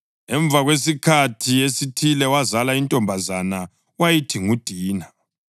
Emva kwesikhathi esithile wazala intombazana wayithi nguDina.